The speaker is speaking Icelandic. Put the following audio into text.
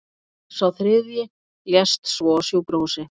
Sá þriðji lést svo á sjúkrahúsi